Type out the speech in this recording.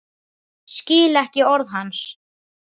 Skil ekki orð hans.